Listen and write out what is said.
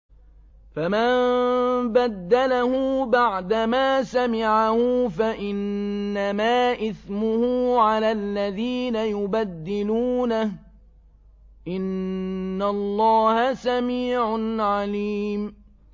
فَمَن بَدَّلَهُ بَعْدَمَا سَمِعَهُ فَإِنَّمَا إِثْمُهُ عَلَى الَّذِينَ يُبَدِّلُونَهُ ۚ إِنَّ اللَّهَ سَمِيعٌ عَلِيمٌ